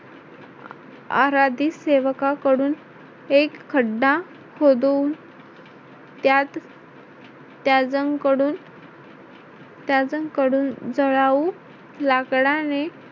आराधी सेवकाकडून एक खड्डा खोदून त्यात त्याच्याकडून त्याजकडून जळाऊ लाकडाने